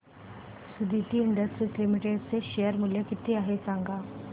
Suditi industries limited चे share मूल्य किती आहे सांगा